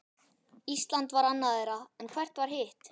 Ísland var annað þeirra, en hvert var hitt?